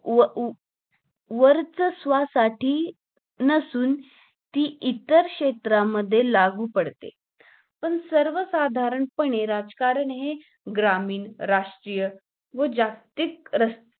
व व वर्चस्वासाठी नसून ती इतर क्षेत्रामध्ये लागू पडते पण सर्व साधारण पने राजकारण हे ग्रामीण, राष्ट्रीय व जागतिक रस